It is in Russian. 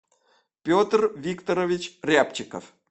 петр викторович рябчиков